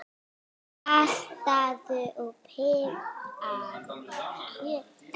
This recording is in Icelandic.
Saltaðu og pipraðu kjötið.